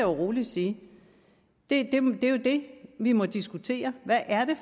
roligt sige det er jo det vi må diskutere hvad er det